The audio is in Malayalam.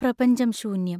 പ്രപഞ്ചം ശൂന്യം.